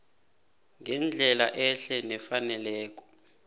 ngendlela ehle nefaneleko